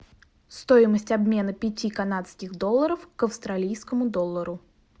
стоимость обмена пяти канадских долларов к австралийскому доллару